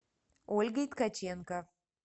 ольгой ткаченко